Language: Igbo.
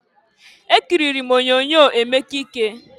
Ekiriri m onyoonyo Emeka Ike.